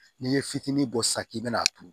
N'i ye fitinin bɔ sisan k'i bɛna a turu